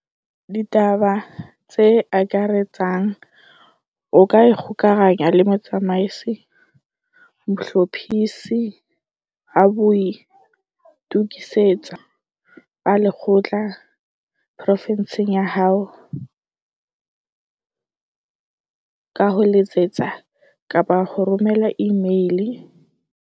DITABA TSE AKARETSANG O ka ikgokahanya le Motsamaisi Mohlophisi wa O ka ikgokahanya le Motsamaisi Mohlophisi wa Boitokisetso ba Lekgotla porofinsing ya hao ka Boitokisetso ba Lekgotla porofinsing ya hao ka ho letsetsa kapa ho romela imeile o sebedisa ho letsetsa kapa ho romela imeile o sebedisa.